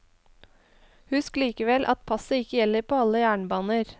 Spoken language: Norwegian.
Husk likevel at passet ikke gjelder på alle jernbaner.